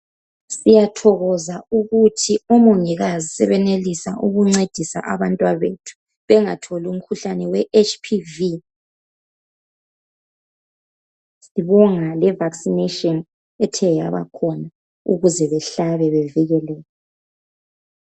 Siyathokoza ukuthi omongikazi sebenelisa ukuncedisa abantwana bethu bengatholi umkhuhlane we HPV.Sibonga le vaccination ethe yabakhona ukuze behlabe bevikeleke.